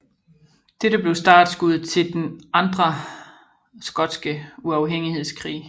Dette blev startskuddet til den andre skotske uafhængighedskrig